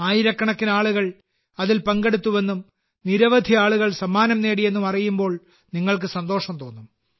ആയിരക്കണക്കിന് ആളുകൾ അതിൽ പങ്കെടുത്തുവെന്നും നിരവധി ആളുകൾ സമ്മാനങ്ങൾ നേടിയെന്നും അറിയുമ്പോൾ നിങ്ങൾക്ക് സന്തോഷം തോന്നും